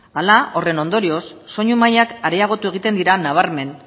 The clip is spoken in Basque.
hala horren ondorioz soinu mailak areagotu egiten dira nabarmen